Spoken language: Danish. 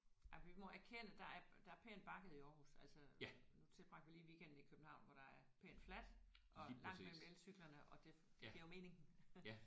Ja vi må erkende at der er der er pænt bakket i Aarhus altså nu tilbragte vi lige en weekend i København hvor der er pænt fladt og langt mellem elcyklerne og det det giver jo mening